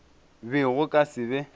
be go ka se be